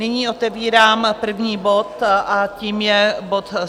Nyní otevírám první bod a tím je bod